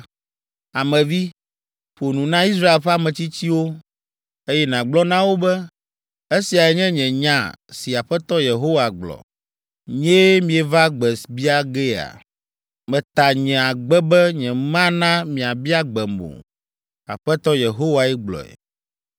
“Ame vi, ƒo nu na Israel ƒe ametsitsiwo, eye nàgblɔ na wo be, ‘Esiae nye nya si Aƒetɔ Yehowa gblɔ. Nyee mieva gbe bia gea? Meta nye agbe be nyemana miabia gbem o. Aƒetɔ Yehowae gblɔe.’